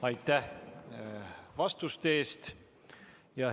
Aitäh vastuste eest!